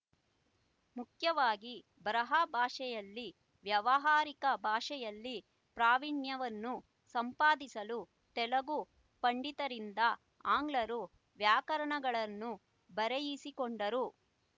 ಮುಖ್ಯವಾಗಿ ಬರಹ ಭಾಷೆಯಲ್ಲಿ ವ್ಯಾವಹಾರಿಕ ಭಾಷೆಯಲ್ಲಿ ಪ್ರಾವಿಣ್ಯವನ್ನು ಸಂಪಾದಿಸಲು ತೆಲುಗು ಪಂಡಿತರಿಂದ ಆಂಗ್ಲರು ವ್ಯಾಕರಣಗಳನ್ನು ಬರೆಯಿಸಿಕೊಂಡರು